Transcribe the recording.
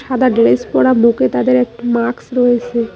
সাদা ড্রেস পরা বুকে তাদের একটা মাকস রয়েসে।